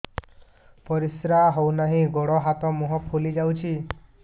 ପରିସ୍ରା ହଉ ନାହିଁ ଗୋଡ଼ ହାତ ମୁହଁ ଫୁଲି ଯାଉଛି